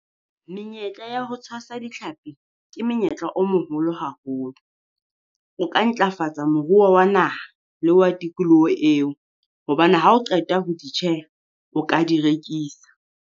Menyetla ya ho tshwasa ditlhapi ke menyetla o moholo haholo, o ka ntlafatsa moruo wa naha le wa tikoloho eo. Hobane ha o qeta ho di tjheha, o ka di rekisa.